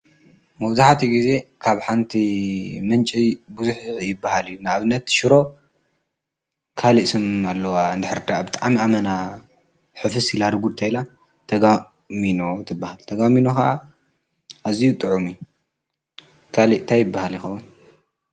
መውዙኃቲ ጊዜ ካብ ሓንቲ ምንፂ ጕዙኅ ይበሃል እዩ ናእብነት ሽሮ ካልእስም ኣለዋ እንድሕርዳ ኣብ ጥዓሚ ኣመና ሕፍስ ኢላርጉድ ተይላ ተጋሚኖ ትበሃል ተጋሚኑኻ እዙይ ጥዑሙ ካልእታኣይበሃል ይኸዉን።